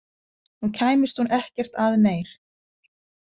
Nú kæmist hún ekkert að meir.